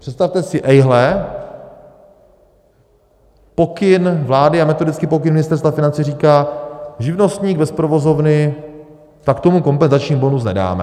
Představte si, ejhle, pokyn vlády a metodický pokyn Ministerstva financí říká: živnostník bez provozovny, tak tomu kompenzační bonus nedáme.